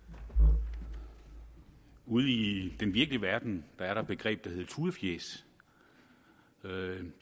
ude ude i den virkelige verden er der et begreb der hedder tudefjæs